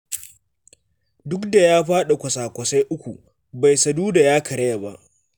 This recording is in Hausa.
Duk da ya faɗi kawasa-kwasai uku, bai saduda ya karaya ba.